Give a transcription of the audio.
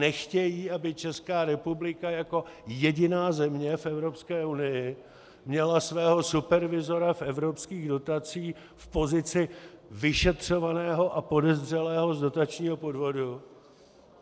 Nechtějí, aby Česká republika jako jediná země v Evropské unii měla svého supervizora v evropských dotacích v pozici vyšetřovaného a podezřelého z dotačního podvodu.